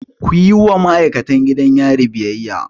Kuyi wa ma'aikatan gidan yari biyayya!